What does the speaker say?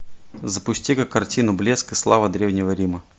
запусти ка картину блеск и слава древнего рима